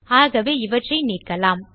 ஆகவே இவற்றை நீக்கலாம்